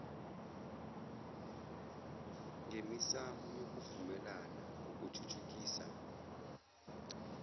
ngemisamo yokuvumelana ngokuthuthukisa